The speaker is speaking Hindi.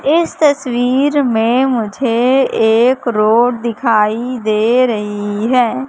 इस तस्वीर में मुझे एक रोड दिखाई दे रही है।